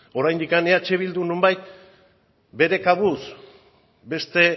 oraindik eh bildu nonbait bere kabuz beste